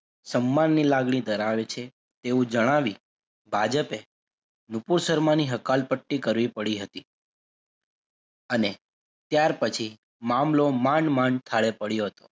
સન્માનની લાગણી ધરાવે છે એવું જણાવી ભાજપે નુપુર સરમાની હકાલપટ્ટી કરવી પડી હતી અને ત્યાર પછી મામલો માંડ માંડ ઠારે પડ્યો હતો.